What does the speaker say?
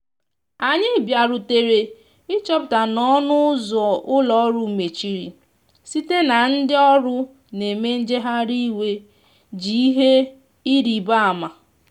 anyi bia rutere ị chọpụta na ọnụ ụzọ ụlọ orụ mechịrị site na ndi ọrụ na eme ngahari iwè ji ihe ịrịbe ama.